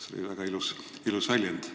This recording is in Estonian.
See oli väga ilus väljend.